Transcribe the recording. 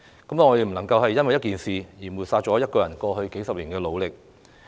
我們不能因為一件事而抹煞她過去數十年的努力。